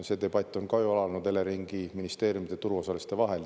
See debatt on ka ju alanud Eleringi, ministeeriumide, turuosaliste vahel.